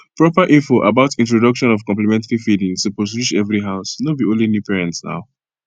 proper info about introduction of complementary feeding suppose reach every householdno be only new parents naw